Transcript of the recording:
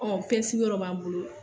Ɔ PSI yɔrɔ b'an bolo.